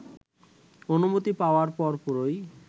অনুমতি পাওয়ার পরপরই